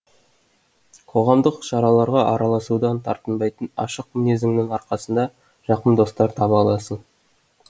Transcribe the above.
қоғамдық шараларға араласудан тартынбайтын ашық мінезіңнің арқасында жақын достар таба аласың